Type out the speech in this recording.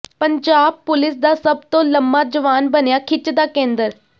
Punjab police ਦਾ ਸਭ ਤੋਂ ਲੰਮਾ ਜਵਾਨ ਬਣਿਆ ਖਿੱਚ ਦਾ ਕੇਂਦਰ